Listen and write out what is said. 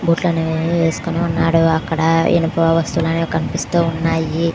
బూట్లు అనేవి వేసుకొని ఉన్నాడు. అక్కడా ఇనపా వస్తువులు అనేవి కనిపిస్తూ ఉన్నాయి.